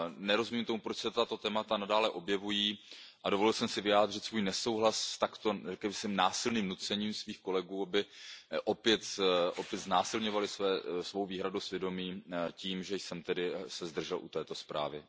Nerozumím tomu, proč se tato témata nadále objevují, a dovolil jsem si vyjádřit svůj nesouhlas s takto násilným nucením mých kolegů, aby opět znásilňovali své výhrady svědomí tím, že jsem se tedy zdržel u této zprávy.